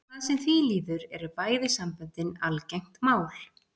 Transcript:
Hvað sem því líður eru bæði samböndin algengt mál.